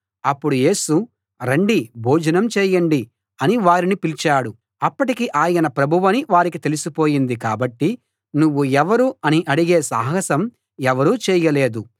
అప్పుడు యేసు రండి భోజనం చేయండి అని వారిని పిలిచాడు అప్పటికి ఆయన ప్రభువని వారికి తెలిసి పోయింది కాబట్టి నువ్వు ఎవరు అని అడిగే సాహసం ఎవరూ చేయలేదు